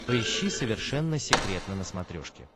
поищи совершенно секретно на смотрешке